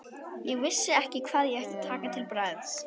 Ég vissi ekki hvað ég ætti að taka til bragðs.